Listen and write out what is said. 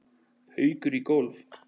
Haukur í golf.